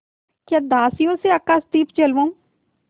या दासियों से आकाशदीप जलवाऊँ